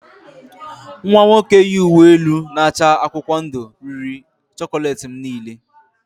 Nwa nwoke yi uwe elu na-acha akwụkwọ ndụ riri chocolate m niile